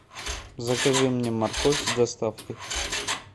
закажи мне морковь с доставкой